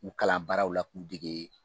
U kalan baaraw la k'u dege